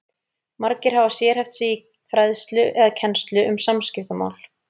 Margir hafa sérhæft sig í fræðslu eða kennslu um samskiptamál.